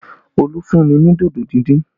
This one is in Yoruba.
Olu fún mi ní dodo díndín